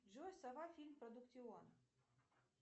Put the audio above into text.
джой сова фильм продуктион